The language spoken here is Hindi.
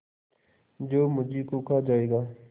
जो मुझी को खा जायगा